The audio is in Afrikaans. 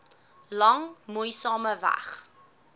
lang moeisame weg